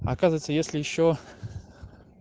оказывается если ещё